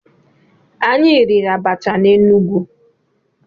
Anyị riri abacha na Enugu.